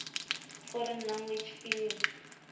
foreign language film